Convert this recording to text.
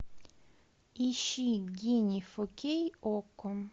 ищи гений фо кей окко